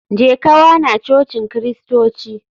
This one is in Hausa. Jeka wana cocin kristoci.